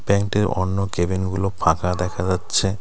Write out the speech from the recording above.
ব্যাঙ্কটির অন্য কেবিনগুলো ফাঁকা দেখা যাচ্ছে .